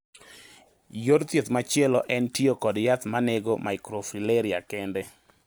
Yor thieth machielo en tiyo kod yath manego microfilariae kende.